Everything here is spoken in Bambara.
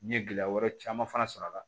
N ye gɛlɛya wɛrɛ caman fana sɔr'a la